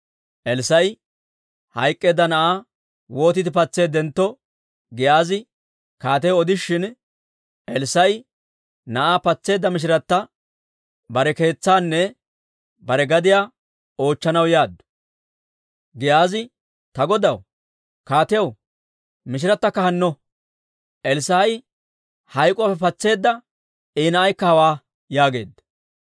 Elssaa'i hayk'k'eedda na'aa wootiide patseeddentto, Giyaazi kaatiyaw odishin, Elssaa'i na'aa patseedda mishirata bare keetsaanne bare gadiyaanne oochchanaw yaaddu. Giyaazi, «Ta godaw, kaatiyaw, mishiratakka hanno; Elssaa'i hayk'k'uwaappe patseedda I na'aykka hawaa» yaageedda.